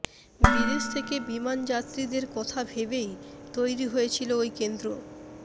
বিদেশ থেকে বিমানযাত্রীদের কথা ভেবেই তৈরি হয়েছিল ওই কেন্দ্র